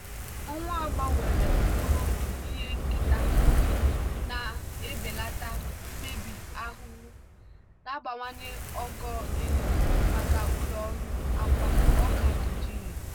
owu a gbanwere mkpụrụ ndụ ihe nketa na-ebelata mmebi ahụhụ na-abawanye ogo eriri maka ụlọ ọrụ akwa nigeria.